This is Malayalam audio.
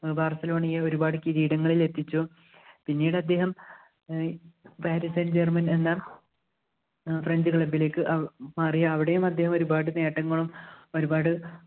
barcelona യെ ഒരുപാട് കിരീടങ്ങളിൽ എത്തിച്ചു പിന്നീട് അദ്ദേഹം ഏർ parisen germain എന്ന ഏർ french club ലേക്ക് മാറി അവിടെയും അദ്ദേഹം ഒരുപാട് നേട്ടങ്ങളും ഒരുപാട്